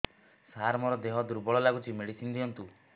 ସାର ମୋର ଦେହ ଦୁର୍ବଳ ଲାଗୁଚି ମେଡିସିନ ଦିଅନ୍ତୁ